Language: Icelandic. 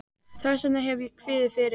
Þess vegna hef ég kviðið fyrir.